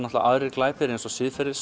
aðrir glæpir eins og